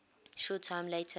short time later